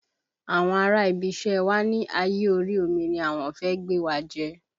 Àwọn ará ibi iṣẹ́ wa ni ayé orí omi ni àwọn fẹ́ gbé wa jẹ́